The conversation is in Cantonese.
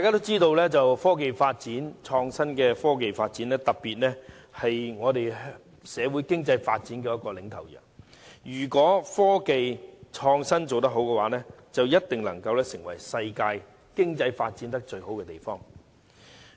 眾所周知，科技發展，特別是創新科技發展是社會經濟發展的領頭羊，如果創新科技做得好，定能成為全球經濟發展最好的地方。